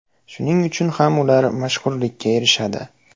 Shuning uchun ham ular mashhurlikka erishadi.